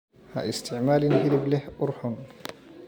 Ha isticmaalin hilib leh ur xun.